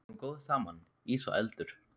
Við erum góð saman, ís og eldur.